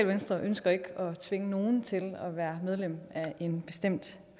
venstre ønsker ikke at tvinge nogen til at være medlem af en bestemt